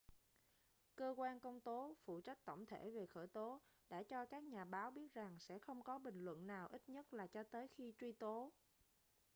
cơ quan công tố phụ trách tổng thể về khởi tố đã cho các nhà báo biết rằng sẽ không có bình luận nào ít nhất là cho tới khi truy tố